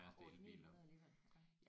8 900 alligevel ja